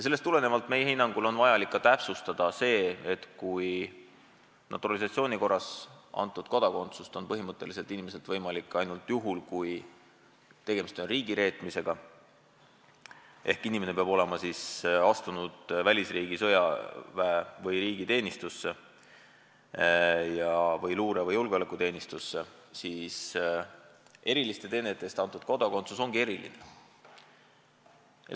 Sellest tulenevalt on meie hinnangul vajalik täpsustada seda, et kui naturalisatsiooni korras antud kodakondsust on põhimõtteliselt inimeselt võimalik võtta ainult juhul, kui tegemist on riigireetmisega – inimene peab olema astunud välisriigi sõjaväe või riigi teenistusse või luure- või julgeolekuteenistusse –, siis eriliste teenete eest antud kodakondsus ongi eriline.